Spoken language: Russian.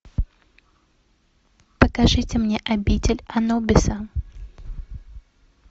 покажите мне обитель анубиса